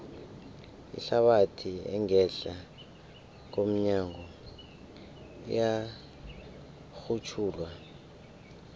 ihlabathi engehla komnyago iyarhutjhulwa